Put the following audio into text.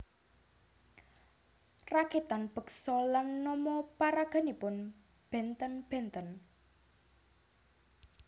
Rakitan beksa lan nama paraganipun bénten bénten